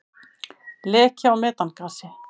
Leki á metangasi.